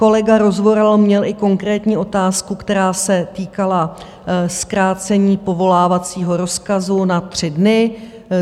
Kolega Rozvoral měl i konkrétní otázku, která se týkala zkrácení povolávacího rozkazu na tři dny.